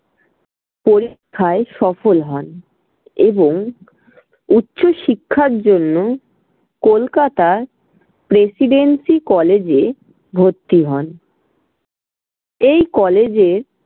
পরীক্ষায় সফল হন এবং উচ্চশিক্ষার জন্য কলকাতার প্রেসিডেন্সি college এ ভর্তি হন। এই college এ